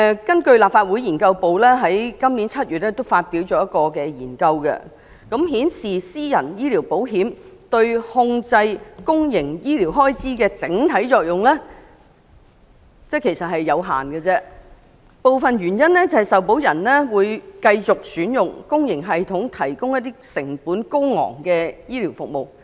根據立法會資料研究組在今年7月發表的研究顯示，私人醫療保險對控制公營醫療開支的整體作用有限，部分原因是受保人會繼續選用公營醫療體系提供的成本高昂醫療服務。